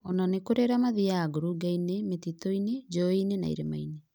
Ona nĩkũrĩ arĩa mathiyaga ngurungainĩ, mĩtitũinı, njũĩinĩ na irĩmainĩ